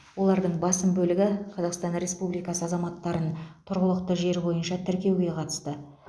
олардың басым бөлігі қазақстан республикасы азаматтарын тұрғылықты жері бойынша тіркеуге қатысты